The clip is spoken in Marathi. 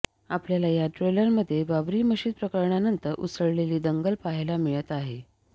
आपल्याला या ट्रेलरमध्ये बाबरी मशिद प्रकरणानंतर उसळलेली दंगल पाहायला मिळत आहे